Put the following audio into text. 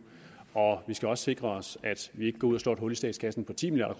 og vi skal også sikre os at vi ikke går ud og slår et hul i statskassen på ti milliard